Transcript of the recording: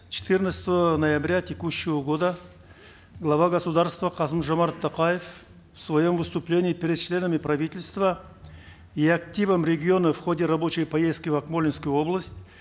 четырнадцатого ноября текущего года глава государства қасым жомарт тоқаев в своем выступлении перед членами правительства и активом регионов в ходе рабочей поездки в акмолинскую область